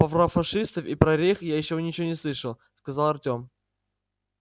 про фашистов и про рейх я ещё ничего не слышал сказал артем